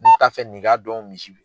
Ne t'a fɛ nin k'a dɔn misi